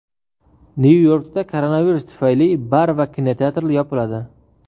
Nyu-Yorkda koronavirus tufayli bar va kinoteatrlar yopiladi.